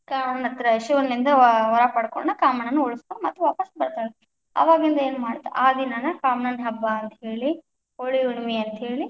ಕಾಮಣ್ಣ ಹತ್ರ, ಶಿವನಲಿಂದ ವರ ಪಡಕೊಂಡು ಕಾಮಣ್ಣನ ಉಳಿಸಿಕೊಂಡ ಮತ್ತ ವಾಪಸ್ ಬರ್ತಾಳ ಅಕಿ, ಅವಾಗಿಂದ ಏನ್ ಮಾಡ್ತಾರ ಆ ದಿನಾನ ಕಾಮಣ್ಣನ ಹಬ್ಬ ಅಂತ ಹೇಳಿ, ಹೋಳಿ ಹುಣ್ಣಿಮೆ ಅಂತ ಹೇಳಿ.